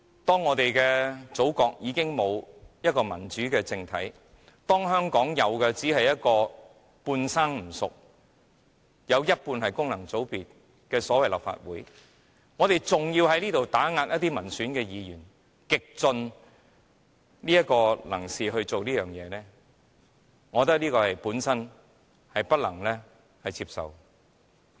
當我們的祖國已經沒有民主政體，當香港有的只是半生不熟、半數議席由功能界別佔據的立法會，若我們還要在這裏極力打壓民選議員，我覺得這是不能接受的。